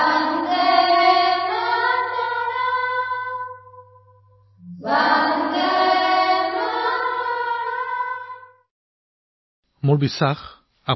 বন্দে মাতৰমত সন্নিবিষ্ট আত্মাই আমাক গৌৰৱ আৰু উৎসাহেৰে ভৰাই তুলিছে